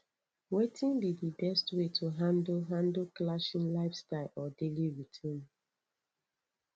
wetin be di best way to handle handle clashing lifestyles or daily routines